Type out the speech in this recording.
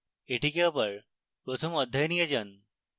এটিকে আবার প্রথম অধ্যায়ে নিয়ে যান